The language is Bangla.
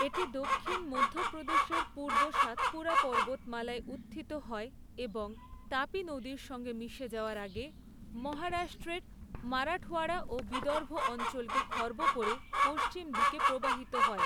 এটি দক্ষিণ মধ্যপ্রদেশের পূর্ব সাতপুরা পর্বতমালায় উত্থিত হয়, এবং তাপি নদীর সঙ্গে মিশে যাওয়ার আগে, মহারাষ্ট্রের মারাঠওয়াড়া ও বিদর্ভ অঞ্চলকে খর্ব করে, পশ্চিম দিকে প্রবাহিত হয়।